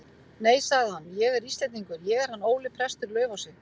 Nei, sagði hann,-ég er Íslendingur, ég er hann Óli prestur í Laufási.